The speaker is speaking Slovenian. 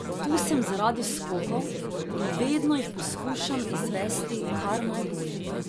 Tu sem zaradi skokov in vedno jih poskušam izvesti kar najbolje.